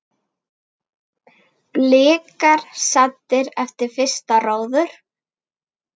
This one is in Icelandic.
Blikar saddir eftir fyrsta róður?